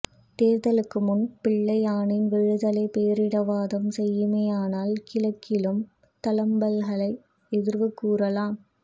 தேர்தலுக்கு முன் பிள்ளையானின் விடுதலையை பேரினவாதம் செய்யுமேயானால் கிழக்கிலும் தளம்பல்களை எதிர்வு கூறலாம்